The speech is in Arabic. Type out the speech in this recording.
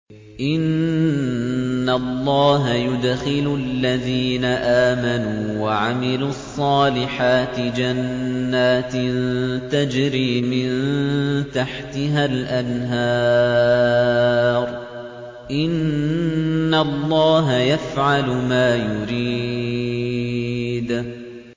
إِنَّ اللَّهَ يُدْخِلُ الَّذِينَ آمَنُوا وَعَمِلُوا الصَّالِحَاتِ جَنَّاتٍ تَجْرِي مِن تَحْتِهَا الْأَنْهَارُ ۚ إِنَّ اللَّهَ يَفْعَلُ مَا يُرِيدُ